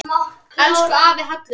Elsku afi Hallur.